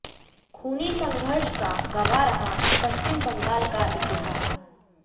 खूनी संघर्ष का गवाह रहा पश्चिम बंगाल का इतिहास